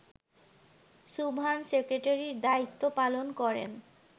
সুবহান সেক্রেটারির দায়িত্ব পালন করেন